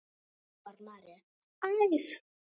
hrópar María æf.